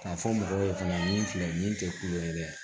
K'a fɔ mɔgɔw ye fana min filɛ nin tɛ kulo ye dɛ